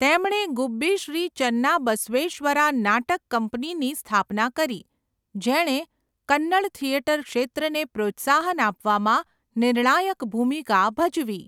તેમણે ગુબ્બી શ્રી ચન્નાબસવેશ્વરા નાટક કંપનીની સ્થાપના કરી, જેણે કન્નડ થિયેટર ક્ષેત્રને પ્રોત્સાહન આપવામાં નિર્ણાયક ભૂમિકા ભજવી.